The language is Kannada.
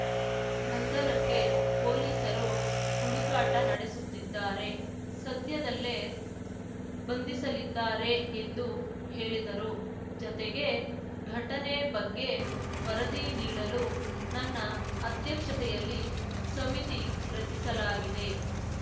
ಬಂಧನಕ್ಕೆ ಪೊಲೀಸರು ಹುಡುಕಾಟ ನಡೆಸುತ್ತಿದ್ದಾರೆ ಸದ್ಯದಲ್ಲೇ ಬಂಧಿಸಲಿದ್ದಾರೆ ಎಂದು ಹೇಳಿದರುಜತೆಗೆ ಘಟನೆ ಬಗ್ಗೆ ವರದಿ ನೀಡಲು ನನ್ನ ಅಧ್ಯಕ್ಷತೆಯಲ್ಲಿ ಸಮಿತಿ ರಚಸಿಲಾಗಿದೆ